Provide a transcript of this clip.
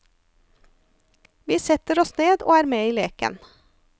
Vi setter oss ned og er med i leken.